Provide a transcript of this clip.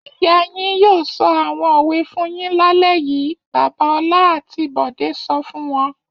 Ìyá yín yóò sọ àwọn òwe fún yín lálẹ́ yìí! Bàbá Ọlá àti Bọ̀dé sọ fún wọn.